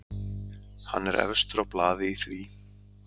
Hann er efstur á blaði í því.